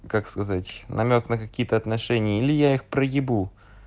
как сказать намёк на какие-то отношения или я их проебу